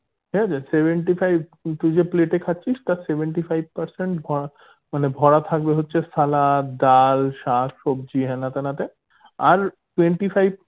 ঠিক আছে seventy five তুই যে plate এ খাচ্ছিস তার seventy five percent ভরা মানে ভরা থাকবে হচ্ছে সালাদ ডাল শাক সবজি হেনা তেনা তে আর twenty five